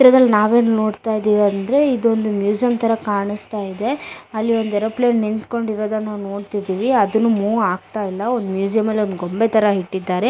ಚಿತ್ರದಲ್ಲಿ ನಾವು ಏನ್ ನೋಡತ್ತಾ ಇದೀವಿ ಅಂದ್ರೆ ಇದೊಂದು ಮ್ಯೂಸಿಯಂ ತರ ಕಾಣಸ್ತಾ ಇದೆ ಅಲ್ಲಿ ಒಂದು ಏರೋಪ್ಲೇನ್ ನಿಂತ್ಕೊಂಡಿರೋದನ್ನ ನೋಡತ್ತಿದಿವಿ ಅದುನು ಮೂವ್ ಆಗತ್ತಾ ಇಲ್ಲಾ ಒಂದು ಮ್ಯೂಸಿಯಂ ಅಲ್ಲಿ ಗೊಂಬೆ ತರ ಇಟ್ಟಿದ್ದಾರೆ .